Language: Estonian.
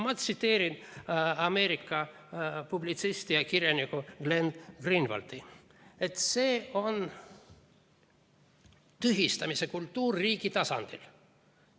Ma tsiteerin Ameerika publitsisti ja kirjanikku Glenn Greenwaldi: see on tühistamise kultuur riigi tasandil.